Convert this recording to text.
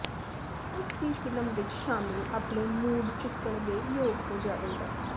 ਉਸ ਦੀ ਫਿਲਮ ਵਿੱਚ ਸ਼ਾਮਿਲ ਆਪਣੇ ਮੂਡ ਚੁੱਕਣ ਦੇ ਯੋਗ ਹੋ ਜਾਵੇਗਾ